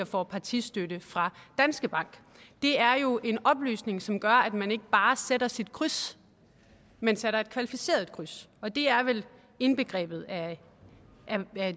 får partistøtte fra danske bank det er jo en oplysning som gør at man ikke bare sætter sit kryds men sætter et kvalificeret kryds og det er vel indbegrebet af